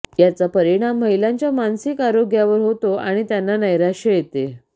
याचा परिणाम महिलांच्या मानसिक आरोग्यावर होतो आणि त्यांना नैराश्य येते